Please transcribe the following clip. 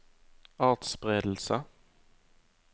atspredelse